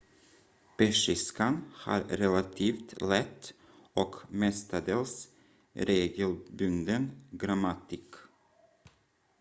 persiskan har relativt lätt och mestadels regelbunden grammatik